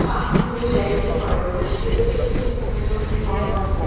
পাঁচিল দিয়ে ব্যারিকেট করা রয়েছে ভিতরে একটি খুব সুন্দর ঘর আছে।